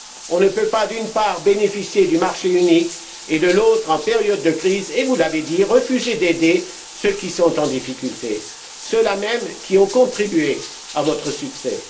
On ne peut pas, d'une part, bénéficier du marché unique et, de l'autre, en période de crise vous l'avez dit refuser d'aider ceux qui sont en difficulté, ceux là même qui ont contribué à votre succès.